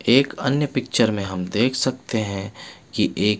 एक अन्य पिक्चर में हम देख सकते है की एक --